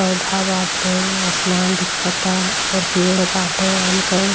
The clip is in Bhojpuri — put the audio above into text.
पौधा बाटे आसमान दिखता और पड़े बाटे आम क।